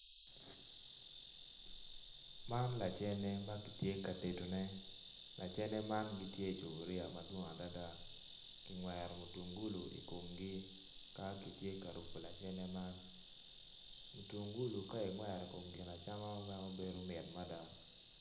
Man lacene ma kitye ka tedone ocene man gitye icupuriya madwong adada kingwero mutungulu i komgi ka kitye ka tedogi mutungulu ka ingwero i kom gin acama bedo mit mada.